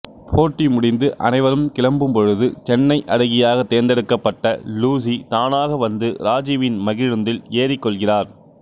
போட்டி முடிந்து அனைவரும் கிளம்பும்பொழுது சென்னை அழகியாகத் தேர்ந்தெடுக்கப்பட்ட லூசி தானாக வந்து ராஜூவின் மகிழுந்தில் ஏறிக்கொள்கிறார்